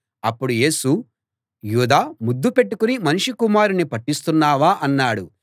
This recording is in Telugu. అప్పుడు యేసు యూదా ముద్దు పెట్టుకుని మనుష్య కుమారుణ్ణి పట్టిస్తున్నావా అన్నాడు